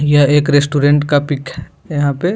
यह एक रेस्टोरेंट का पीक है यहाँ पे |